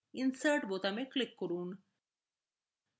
insert বোতামে click করুন